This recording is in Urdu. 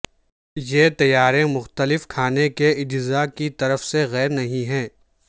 یہ تیاری مختلف کھانے کے اجزاء کی طرف سے غیر نہیں ہے